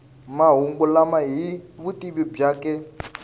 mahungu lama hi vutivi byakwe